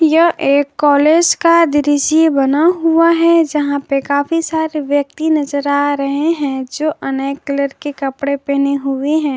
यह एक कॉलेज का दृश्य बना हुआ है जहां पे काफी सारे व्यक्ति नजर आ रहे हैं जो अनेक कलर के कपड़े पहने हुए हैं।